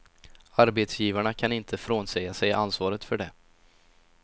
Arbetsgivarna kan inte frånsäga sig ansvaret för det.